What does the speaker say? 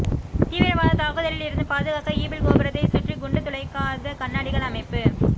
தீவிரவாத தாக்குதலில் இருந்து பாதுகாக்க ஈபிள் கோபுரத்தை சுற்றி குண்டு துளைக்காத கண்ணாடிகள் அமைப்பு